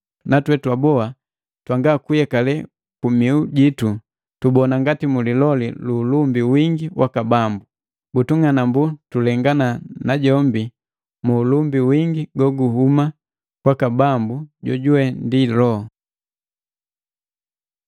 Natwee twaboa twanga kuyekale kumihu jitu tubona ngati muliloli ulumbi wingi waka Bambu. Butung'anambu tulengana na jombi mu ulumbi wingi goguhuma kwaka Bambu, jojuwe ndi Loho.